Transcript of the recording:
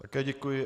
Také děkuji.